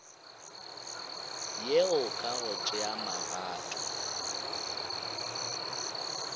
yeo ka go tšea magato